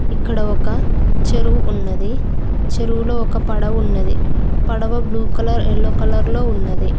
ఇక్కడ ఒక చెరువు ఉన్నది చెరువులో ఒక పడవ ఉన్నది పడవ బ్లూ కలర్ యెల్లో కలర్ లో ఉన్నది.